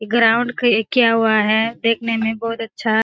ये ग्राउंड की ऐ किया हुआ है देखने में बहुत अच्छा --